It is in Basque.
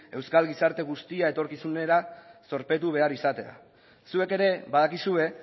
euskal gizarte guztia etorkizunera zorpetu behar izatea zuek ere badakizue